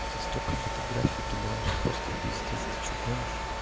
я тебе столько фотографий кидал аж просто пиздец ты что гонишь